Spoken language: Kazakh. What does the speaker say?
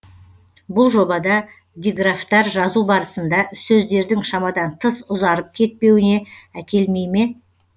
бұл жобада диграфтар жазу барысында сөздердің шамадан тыс ұзарып кетпеуіне әкелмей ме